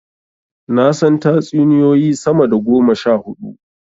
Na san tatsuniyoyi sama da goma sha huɗu.